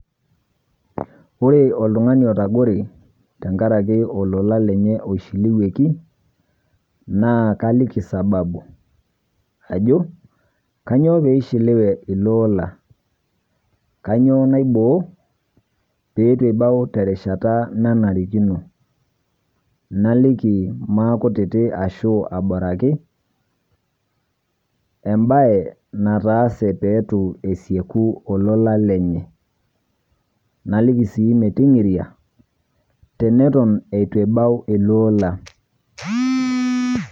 Ore oltung'ani oitagore tang'araki ololan lenye eishiliwieki, naa kaaliki sababu ajoo kanyoo pee eishiliwie elolan, kanyoo naiboo pee atuu ebaau te rishataa nanarikinoo. Naaliki maa kuutiti ashoo abaaraki ebaye naataase pee atuu asekuu ololan lenye. Naaliki sii meeting'iria tenetoon abaau elolan.